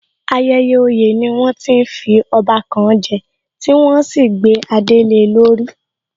Ayẹyẹ oyè ni wọ́n ti ń fi ọba kan je, tí wọ́n ó sì gbé adé le lórí